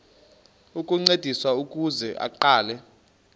ukuncediswa ukuze aqale